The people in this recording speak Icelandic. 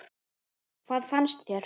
Hvað fannst þér?